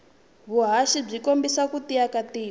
vuhhashi bwikombisa kutiya katiko